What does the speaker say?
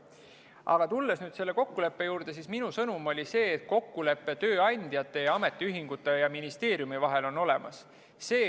Aga tulles nüüd selle kokkuleppe juurde, siis minu sõnum oli see, et kokkulepe tööandjate ja ametiühingute ja ministeeriumi vahel on olemas.